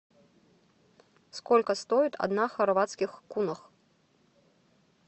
сколько стоит одна хорватских кунов